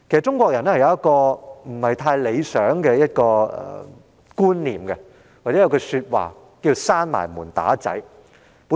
中國人有一種不太理想的觀念，又或服膺"關上門打仔"之說。